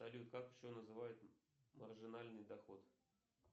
салют как еще называют маржинальный доход